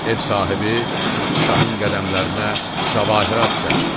Ev sahibi şahın qədəmlərinə cəvahirat səpdi.